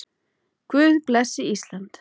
Guð blessi Ísland.